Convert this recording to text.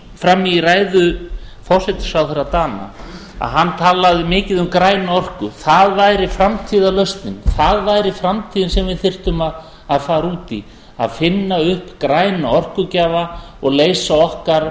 fram í ræðu forsætisráðherra dana að hann talaði mikið um græna orku það væri framtíðarlausnin það væri framtíðin sem við þyrftum að fara út í að finna upp græna orkugjafa og leysa okkar